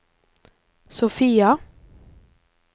Sofia